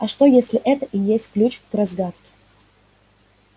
а что если это и есть ключ к разгадке